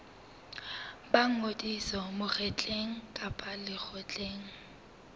ba ngodiso mokgeng kapa lekgotleng